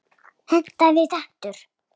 Hentaði betur.